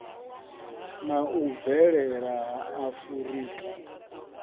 na u bvelela ha afurika